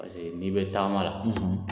Paseke n'i bɛ taama la.